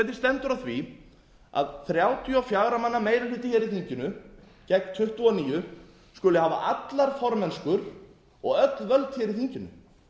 stendur á því að þrjátíu og fjögur á manna meiri hluti hér í þinginu gegn tuttugu og níu skuli hafa allar formennsku og öll völd hér í þinginu